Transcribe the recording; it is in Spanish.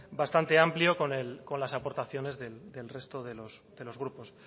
bastante amplio con las aportaciones del resto de los grupos